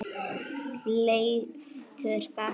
Leiftur gaf út.